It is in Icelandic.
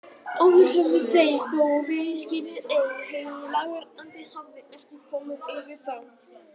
Áður höfðu þeir þó verið skírðir en heilagur andi hafði ekki komið yfir þá.